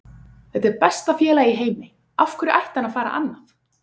Þetta er besta félag í heimi, af hverju ætti hann að fara annað?